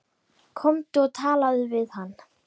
Komdu og talaðu við hann!